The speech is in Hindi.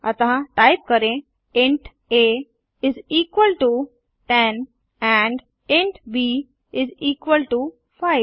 अतः टाइप करें int a is equal to 10 and int b is equal to 5